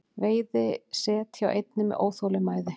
Veiði set hjá einni með óþolinmæði